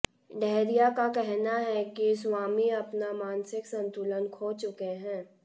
डहरिया का कहना है कि स्वामी अपना मानसिक संतुलन खो चुके हैं